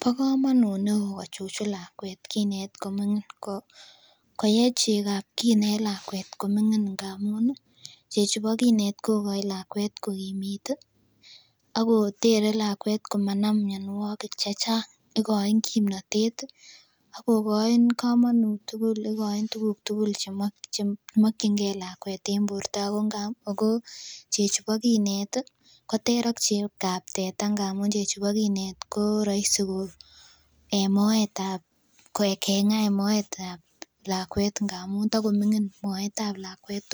Bo komanut neo kochuchun lakuet kinet koming'in, koye chegab kinet lakuet koming'ingin ngamun ih chechu bo kinet kokoin lakuet kokimitu ih akotere lakuet komanam mianiuek chechang. Ikoin kimnatet ih akokoi. Komanut tugul chemokienge lakuet en borta ako chechu bo kinet ko ter ak chegob teta ngamun chechu bo kinet ko raisi en moet keng'aa en moetab lakuet ngap takoming'in moetab lakuet